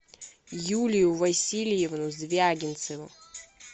юлию васильевну звягинцеву